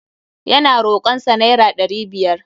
Ya na rokon sa naira ɗari biyar.